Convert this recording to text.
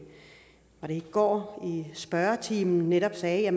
går i spørgetimen netop sagde